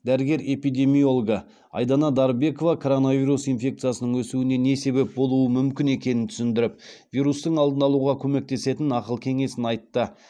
дәрігер эпидемиологы айдана дарбекова коронавирус инфекциясының өсуіне не себеп болуы мүмкін екенін түсіндіріп вирустың алдын алуға көмектесетін ақыл кеңесін айтты